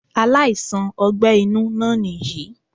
Aláìsàn ogbé inú náà nìyí í